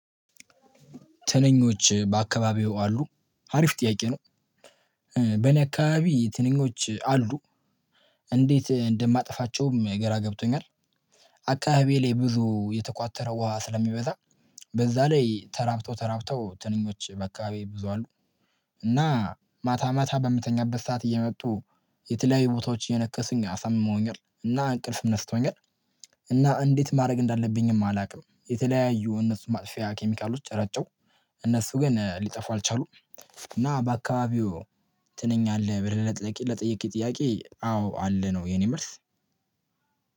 ትንኞች በአካባቢው አሉ አሪፍ ጥያቄ ነው። በነካባቢ ትንኞች አሉ? እንዴት እንደማጠፋቸውም ገራ ገብቶኛል፤። አካባቢ ላይ ብዙ የተቋተረ ውሃ ስለሚበዛ በዛ ላይ ተራብተው ተራብተው ትንኞች በአካባቢ ብዙ አሉ። እና ማታ ማታ በምተኛበት ሰዓት እየመጡ የተለያዩ ቦታዎች እየነከሱኝ አሳምመውኛል እና እንቅልፍም ነስቶኛል። እና እንዴት ማድረግ እንዳለብኝም አላውቅም፤። የተለያዩ እነሱ ማጥፊያ ኬሚካሎች ረጨው። እነሱ ግን ሊጠፉ አልቻሉም። እና በአካባቢው ትንኝ አለ ብለህ ለጠየቅኸኝ ጥያቄ አዎ አለ ነው የኔ መልስ።